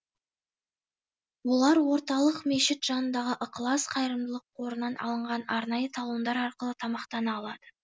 олар орталық мешіт жанындағы ықылас қайырымдылық қорынан алынған арнайы талондар арқылы тамақтана алады